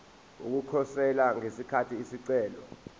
ukukhosela ngesikhathi isicelo